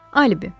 Alibi.